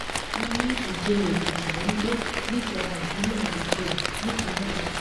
wọn ní ìjẹrọ èkìtì ló ń gbé níjọba ìbílẹ ìjẹrò nípínlẹ náà